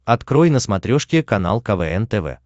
открой на смотрешке канал квн тв